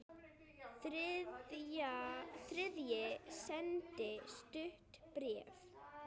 Þriðji sendi stutt bréf